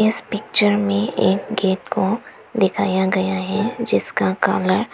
इस पिक्चर में एक गेट को दिखाया गया है जिसका कलर